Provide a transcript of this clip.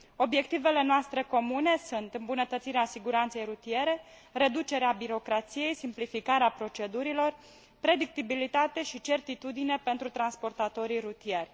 Obiectivele noastre comune sunt îmbunătățirea siguranței rutiere, reducerea birocrației, simplificarea procedurilor, predictibilitate și certitudine pentru transportatorii rutieri.